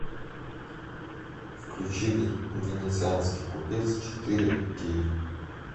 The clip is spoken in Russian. включи венецианский купец четыре кей